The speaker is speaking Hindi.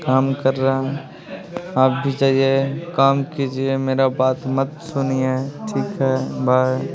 काम कर रहा हूँ आप भी जाइए काम कीजिए मेरा बात मत सुनिए ठीक हैं बाय --